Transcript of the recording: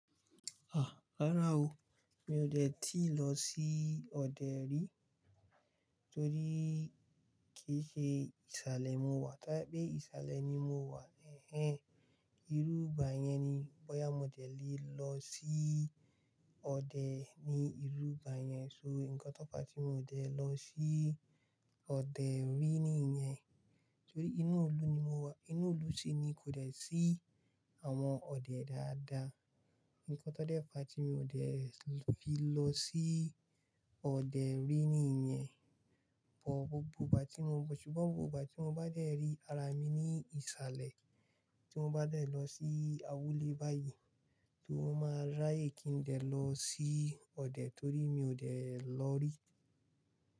Ah! Rárá o, mi ò dè tíì lọ sí ọdẹ rí torí kì í ṣe ìsàlẹ̀ mo wà. Ta i pé ìsàlẹ̀ ni mo wà. Ẹ̀hẹn, irú ìgbà yẹn ni bóyá mo dẹ̀ lé lọ sí ọdẹ ni irú ìgbà yẹn. So nǹkan tó fa tí mi ò dẹ̀ lọ sí ọdẹ rí nìyẹn torí inú ìlú ni mo wà. Inú ìlú sì ni kò dẹ̀ sí àwọn ọdẹ dáadáa. Nǹkan tó dé fàá tí mi ò dẹ̀ fi lọ sí ọdẹ rí nìyẹn. Bọ̀ gbogbo ìgbà tí mo, ṣùgbọ́n gbogbo ìgbà tí mo bá dẹ̀ rí ara mi ní ìsàlẹ̀, tí mo bá dẹ̀ lọ sí awúlẹ̀ báyìí, tí mo máa ráye kí n dẹ̀ lọ sí ọdẹ torí mi ò dẹ̀ lọ rí.